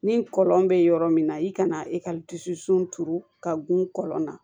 Ni kɔlɔn bɛ yɔrɔ min na i kana i ka dusu turu ka gun kɔlɔn na